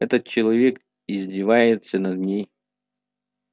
этот человек издевается над ней